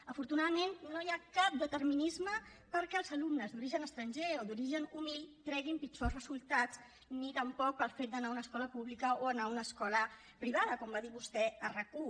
afortunadament no hi ha cap determinisme perquè els alumnes d’origen estranger o d’origen humil treguin pitjors resultats ni tampoc pel fet d’anar a una escola pública o anar a una escola privada com va dir vostè a rac1